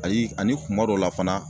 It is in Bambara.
Ayi ani kuma dɔw la fana